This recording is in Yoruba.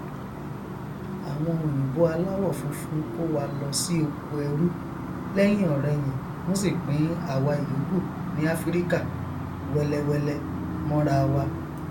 àwọn òyìnbó aláwọ funfun kówa lọ sí oko ẹrú lẹhìnọrẹhìn wọn sì pín àwa ìyókù ní afirika wẹlẹwẹlẹ mọnrawa